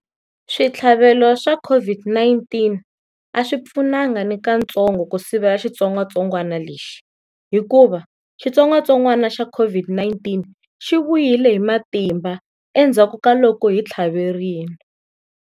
Switlhavelo swa COVID-19 a swi pfunanga ni kantsongo ku sivela xitsongwatsongwana lexi, hikuva xitsongwatsongwana xa COVID-19 xi vuyile hi matimba endzhaku ka loko hi tlhaverile.